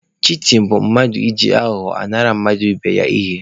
Shitin bụ mmadụ iji aghụghọ nara mmadụ ibe ya ihe.